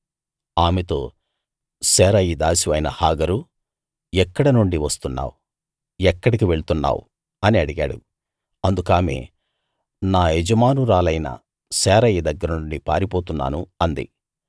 ఆమెతో శారయి దాసివైన హాగరూ ఎక్కడ నుండి వస్తున్నావ్ ఎక్కడికి వెళ్తున్నావ్ అని అడిగాడు అందుకామె నా యజమానురాలైన శారయి దగ్గరనుండి పారిపోతున్నాను అంది